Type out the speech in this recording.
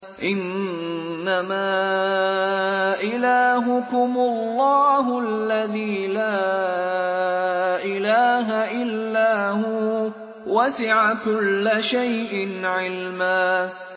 إِنَّمَا إِلَٰهُكُمُ اللَّهُ الَّذِي لَا إِلَٰهَ إِلَّا هُوَ ۚ وَسِعَ كُلَّ شَيْءٍ عِلْمًا